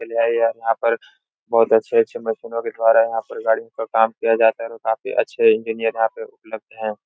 यहाँ पर बहोत अच्छे-अच्छे मशीनों बिठवा रहे हैं। यहाँ पर गाड़ी पर काम किया जाता है और यहाँ पर काफी अच्छे इंजिनियर उपलब्ध हैं।